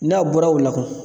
N'a bɔra o la kun